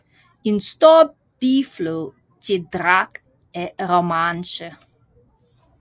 En stor biflod til Drac er Romanche